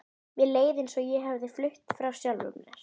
Mér leið eins og ég hefði flutt frá sjálfri mér.